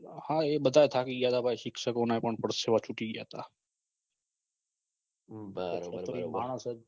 હા એ બધા થાકી ગયા હતા શિક્ષકો ના પણ પરસેવા છુટી ગયા તા છે તો ઈ માણસ જ